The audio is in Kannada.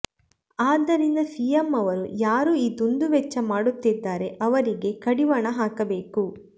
ಆದ್ದರಿಂದ ಸಿಎಂ ಅವರು ಯಾರು ಈ ದುಂದುವೆಚ್ಚ ಮಾಡುತ್ತಿದ್ದಾರೆ ಅವರಿಗೆ ಕಡಿವಾಣ ಹಾಕಬೇಕು